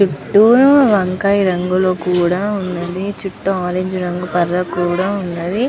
చుటు వంకాయ్ రంగులో కూడా ఉనది. చుట్టూ ఆరంజ్ రంగు పరదా కూడా ఉన్నదీ.